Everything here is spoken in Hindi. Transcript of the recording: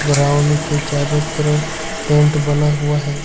के चारों तरफ टेंट बना हुआ है।